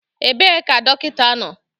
Ebee ka dọkịta nọ?